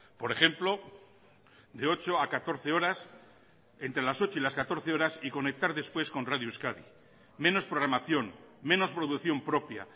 por ejemplo de ocho a catorce horas entre las ocho y las catorce horas y conectar después con radio euskadi menos programación menos producción propia